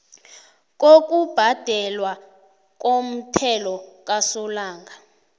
lokubhadelwa komthelo kasolanga